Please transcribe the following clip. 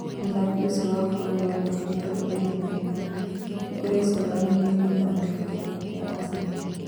Mũthaki ũcio wa ũkũrũ wa mĩaka mĩrongo ĩrĩ na ĩnana nĩkũrecũranio nĩugũthamĩta kĩrabu kĩa Arsenal